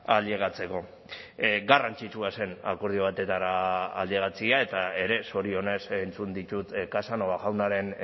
ailegatzeko garrantzitsua zen akordio batetara ailegatzea eta ere zorionez entzun ditut casanova jaunaren